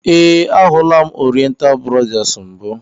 We, a hụla m Oriental brothers mbụ.